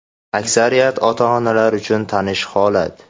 Aksariyat ota-onalar uchun tanish holat.